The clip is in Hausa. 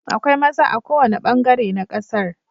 Akwai maza a kowane bangare na kasar.